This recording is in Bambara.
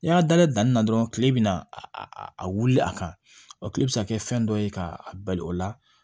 N'i y'a da danni na dɔrɔn kile bina a wuli a kan kile bi se ka kɛ fɛn dɔ ye ka a bali o la